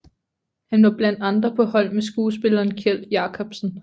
Han var blandt andre på hold med skuespilleren Kjeld Jacobsen